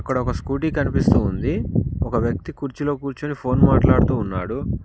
ఒక స్కూటీ కనిపిస్తూ ఉంది ఒక వ్యక్తి కుర్చీలో కూర్చొని ఫోన్ మాట్లాడుతూ ఉన్నాడు.